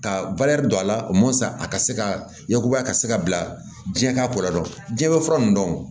Ka don a la a ka se ka yakubaya ka se ka bila diɲɛ ka ko la dɔndɔn diɲɛ fura nin dɔn